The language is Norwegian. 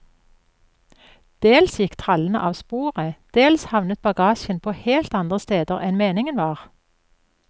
Dels gikk trallene av sporet, dels havnet bagasjen på helt andre steder enn meningen var.